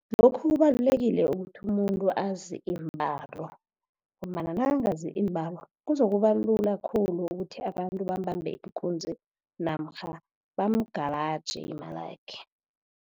Lokhu kubalulekile ukuthi umuntu azi iimbalo, ngombana nakangazi iimbalo kuzokuba lula khulu, ukuthi abantu bambambe ikunzi namkha bamugalaje imali yakhe.